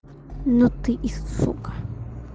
ну ты и сука